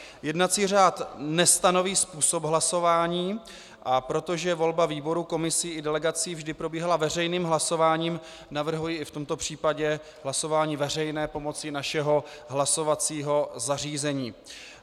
Jednací řád nestanoví způsob hlasování, a protože volba výborů, komisí i delegací vždy probíhala veřejným hlasováním, navrhuji i v tomto případě hlasování veřejné pomocí našeho hlasovacího zařízení.